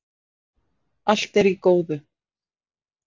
Allt er í góðu